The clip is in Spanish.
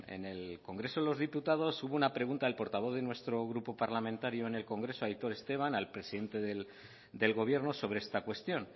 en el congreso de los diputados hubo una pregunta del portavoz de nuestro grupo parlamentario en el congreso aitor esteban al presidente del gobierno sobre esta cuestión